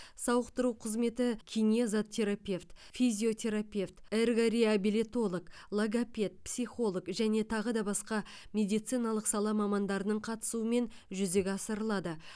сауықтыру қызметі кинезотерапевт физиотерапевт эргореабилитолог логопед психолог және тағы да басқа медициналық сала мамандарының қатысуымен жүзеге асырылады